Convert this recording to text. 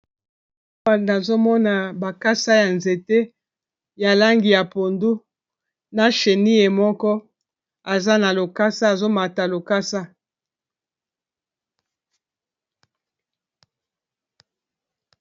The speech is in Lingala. Awa nazomona bakasa ya nzete ya langi ya pondu na cheni moko aza na lokasa azomata lokasa.